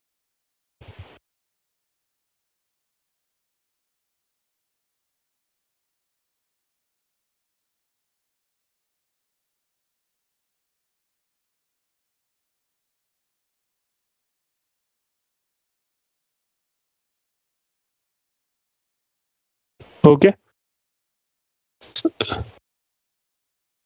okay